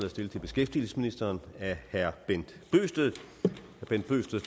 er stillet til beskæftigelsesministeren af herre bent bøgsted